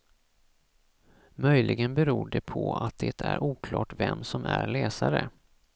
Möjligen beror det på att det är oklart vem som är läsare.